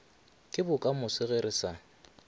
ke bokamoso ge re sa